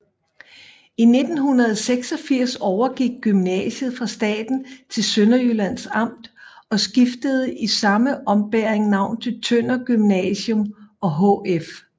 I 1986 overgik gymnasiet fra staten til Sønderjyllands Amt og skiftede i samme ombæring navn til Tønder Gymnasium og HF